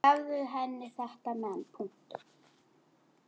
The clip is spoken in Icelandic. Og gefðu henni þetta men.